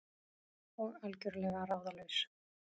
Og algjörlega ráðalaus.